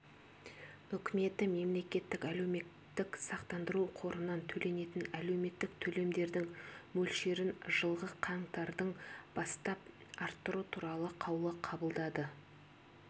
үкіметі мемлекеттік әлеуметтік сақтандыру қорынан төленетін әлеуметтік төлемдердің мөлшерін жылғы қаңтардан бастап арттыру туралы қаулы қабылдады